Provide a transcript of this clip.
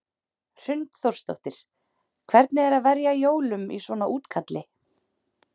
Hrund Þórsdóttir: Hvernig er að verja jólum í svona útkalli?